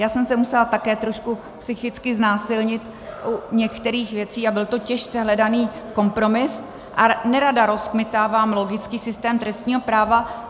Já jsem se musela také trošku psychicky znásilnit u některých věcí a byl to těžce hledaný kompromis a nerada rozkmitávám logický systém trestního práva.